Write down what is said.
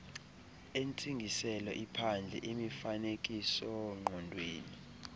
entsingiselo iphandle imifanekisoongqondweni